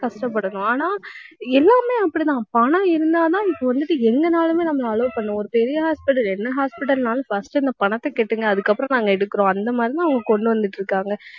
கஷ்டப்படணும். ஆனால் எல்லாமே அப்படித்தான் பணம் இருந்தாதான், இப்ப வந்துட்டு எங்கனாலுமே, நம்மளை allow பண்ணுவாங்க. ஒரு பெரிய hospital என்ன hospital னாலும் first இந்த பணத்தை கட்டுங்க அதுக்கப்புறம் நாங்க எடுக்கிறோம். அந்த மாதிரிதான், அவங்க கொண்டு வந்துட்டிருக்காங்க